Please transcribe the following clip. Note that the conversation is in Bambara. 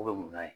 U bɛ mun na